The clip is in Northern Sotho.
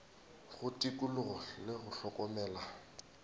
go tikologo le go hlokomela